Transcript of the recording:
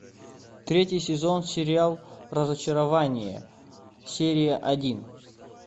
третий сезон сериал разочарование серия один